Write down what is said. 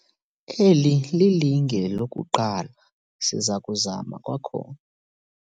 Eli lilinge lokuqala siza kuzama kwakhona.